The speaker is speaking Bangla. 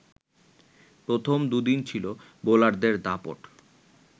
প্রথম দুদিন ছিল বোলারদের দাপট